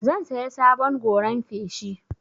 Zan saya sabon goran feshi.